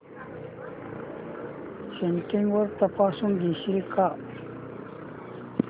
settings तपासून घेशील का